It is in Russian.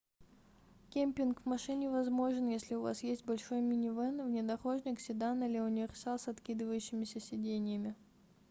кемпинг в машине возможен если у вас есть большой минивэн внедорожник седан или универсал с откидывающимися сиденьями